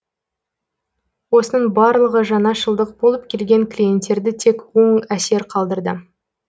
осының барлығы жаңашылдық болып келген клиенттерді тек оң әсер қалдырды